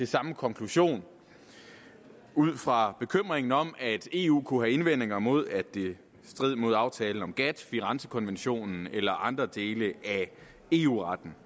samme konklusion ud fra bekymringen om at eu kunne have indvendinger imod at det stred mod aftalen om gatt firenzekonventionen eller andre dele af eu retten